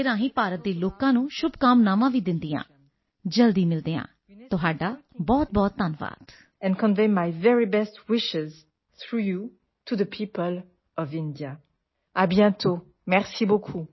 world leaders would be coming to Delhi for this event excellency how does India want to put culture and education at the top of the international agenda I once again thank you for this opportunity and convey my very best wishes through you to the people of India